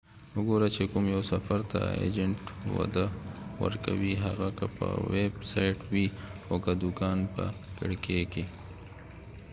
وګوره چې کوم یو سفر ته ایجنټ وده ورکوي هغه که په ويب سايټ وي او که د دوکان به کړکي کې